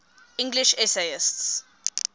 english essayists